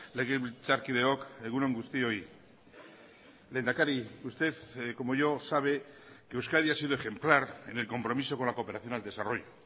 legebiltzarkideok egun on guztioi lehendakari usted como yo sabe que euskadi ha sido ejemplar en el compromiso con la cooperación al desarrollo